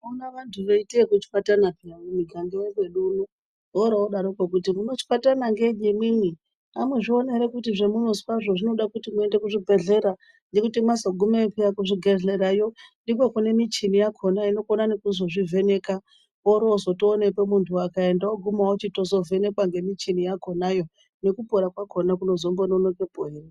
Unoona vantu veita zvekuchwatana paye mumiganga yekwedu uno woro wodaro kwo kuti munochwatana ngeyi imwimwi amuzvioni ere kuti zvamunozwa zvinoda kuti muenda kuzvibhedhlera ngekuti mwazogumeyo paye kuzvibhedhlerayo ndikwo kune michini yakhona inokona nekuzvivheka woro wozotooneka muntu akaenda woguma wotovhekwa ngemichini yo nekupora kwakhona kunozombononokepo ere.